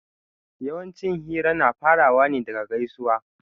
Yawanci hira na farawa ne daga gaisuwa